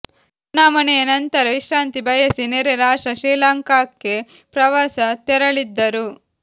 ಚುನಾವಣೆಯ ನಂತರ ವಿಶ್ರಾಂತಿ ಬಯಸಿ ನೆರೆ ರಾಷ್ಟ್ರ ಶ್ರೀಲಂಕಾಕ್ಕೆ ಪ್ರವಾಸ ತೆರಳಿದ್ದರು